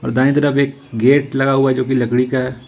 और दाएं तरफ एक गेट लगा हुआ जो की लकड़ी का है।